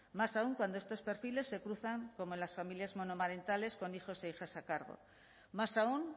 más aún cuando estos perfiles se cruzan como en las familias monoparentales con hijos e hijas a cargo más aún